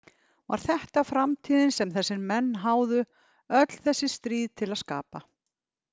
Var þetta framtíðin sem þessir menn háðu öll þessi stríð til að skapa?